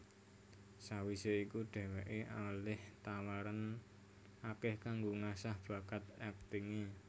Sawisé iku dheweké olih tawaran akeh kanggo ngasah bakat aktingé